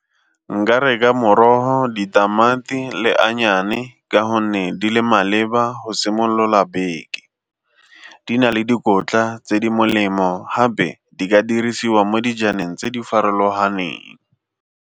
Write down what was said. Nka reka morogo, ditamati le ka gonne di le maleba go simolola beke, di na le dikotla tse di molemo gape di ka dirisiwa mo dijaneng tse di farologaneng.